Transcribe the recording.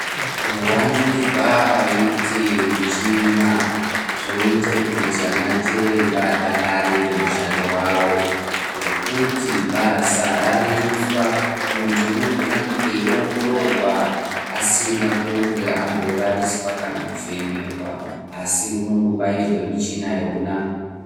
Kuvandunzwe kwaite michina zvoite kuti anachiremba adakarire mushando wavo, nekuti basa rarerutswa muntu unogone kunge eiongororwa asina kunge amborariswa , kana kuvhenekwa asi unongo bairwe michina yona.